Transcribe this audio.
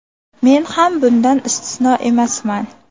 Men ham bundan istisno emasman.